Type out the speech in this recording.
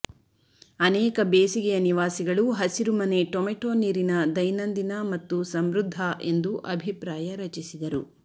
ಅನೇಕ ಬೇಸಿಗೆಯ ನಿವಾಸಿಗಳು ಹಸಿರುಮನೆ ಟೊಮೆಟೊ ನೀರಿನ ದೈನಂದಿನ ಮತ್ತು ಸಮೃದ್ಧ ಎಂದು ಅಭಿಪ್ರಾಯ ರಚಿಸಿದರು